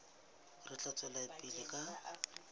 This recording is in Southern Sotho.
re tla tswela pele ka